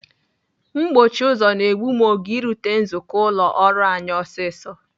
Mkpọchi ụzọ na-egbu m oge irute nzukọ ụlọ ọrụ anyị ọsịsọ.